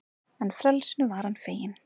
En frelsinu var hann feginn.